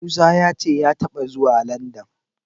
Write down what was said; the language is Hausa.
Musa ya ce ya taɓa zuwa Landan.